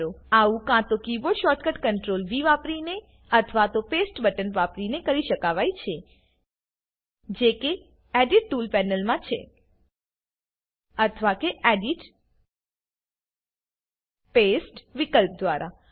આવું કા તો કીબોર્ડ શોર્ટકટ CtrlV વાપરીને અથવા તો પેસ્ટ બટન વાપરીને કરી શકાવાય છે જે કે એડિટ ટુલ્સ પેનલમાં છે અથવા કે એડિટ પાસ્તે વિકલ્પ દ્વારા